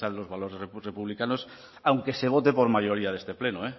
la defensa de los valores republicanos aunque se vote por mayoría de este pleno